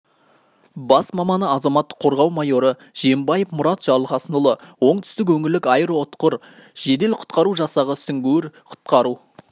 бас маманы азаматтық қорғау майоры жиенбаев мұрат жарылқасынұлы оңтүстік өңірлік аэроұтқыр жедел құтқару жасағы сүңгуір-құтқару